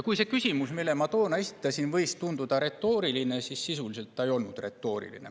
Küsimus, millele ma toona esitasin, võis tunduda retooriline, aga sisuliselt see ei olnud retooriline.